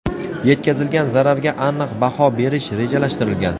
yetkazilgan zararga aniq baho berish rejalashtirilgan.